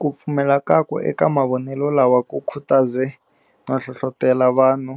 Kupfumela kakwe eka mavonele lawa ku khutaze no hlohlotela vanhu